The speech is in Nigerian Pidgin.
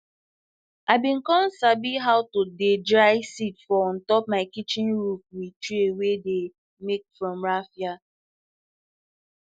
i be com sabi how to dey dry seed for on top my kitchen roof with tray wey dey make from raffia